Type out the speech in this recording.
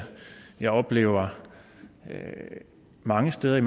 jeg oplever mange steder